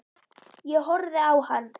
Ég horfði á hann.